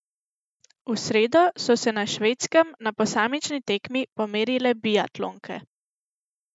V sredo so se na Švedskem na posamični tekmi pomerile biatlonke.